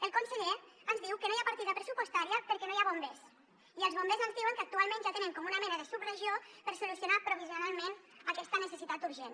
el conseller ens diu que no hi ha partida pressupostària perquè no hi ha bombers i els bombers ens diuen que actualment ja tenen com una mena de subregió per solucionar provisionalment aquesta necessitat urgent